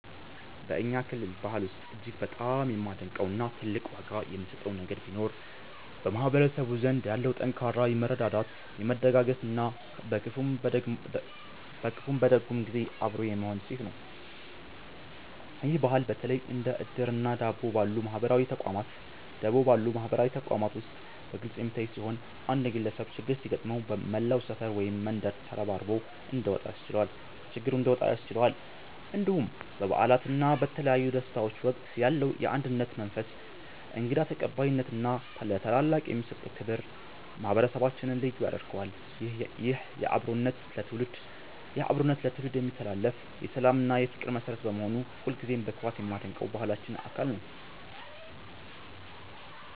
በእኛ ክልል ባህል ውስጥ እጅግ በጣም የማደንቀው እና ትልቅ ዋጋ የምሰጠው ነገር ቢኖር በማህበረሰቡ ዘንድ ያለው ጠንካራ የመረዳዳት፣ የመደጋገፍ እና በክፉም በደግም ጊዜ አብሮ የመሆን እሴት ነው። ይህ ባህል በተለይ እንደ 'እድር' እና 'ደቦ' ባሉ ማህበራዊ ተቋማት ውስጥ በግልጽ የሚታይ ሲሆን፣ አንድ ግለሰብ ችግር ሲገጥመው መላው ሰፈር ወይም መንደር ተረባርቦ እንዲወጣ ያስችለዋል። እንዲሁም በበዓላት እና በተለያዩ ደስታዎች ወቅት ያለው የአንድነት መንፈስ፣ እንግዳ ተቀባይነት እና ለታላላቅ የሚሰጠው ክብር ማህበረሰባችንን ልዩ ያደርገዋል። ይህ አብሮነት ለትውልድ የሚተላለፍ የሰላም እና የፍቅር መሠረት በመሆኑ ሁልጊዜም በኩራት የማደንቀው የባህላችን አካል ነው።